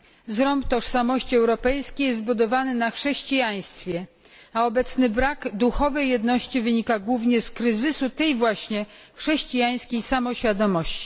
Zrąb tożsamości europejskiej jest zbudowany na chrześcijaństwie, a obecny brak duchowej jedności wynika głównie z kryzysu tej właśnie chrześcijańskiej samoświadomości.